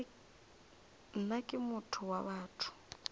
nna ke motho wa batho